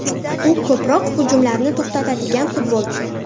U ko‘proq hujumlarni to‘xtatadigan futbolchi.